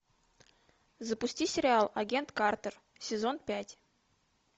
запусти сериал агент картер сезон пять